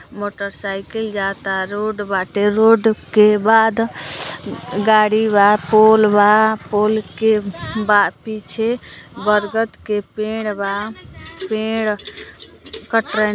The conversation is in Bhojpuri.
मोटरसाइकिल जाता। रोड बाटे रोड के बाद गाड़ी बा पोल बा पोल के पीछे बरगद के पेड बा पेड कटरैन --